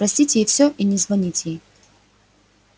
простить ей всё и не звонить ей